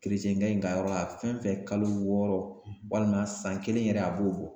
Keretiyɛnkɛ in ka yɔrɔ la, fɛn fɛn kalo wɔɔrɔ walima san kelen yɛrɛ a b'o bɔ .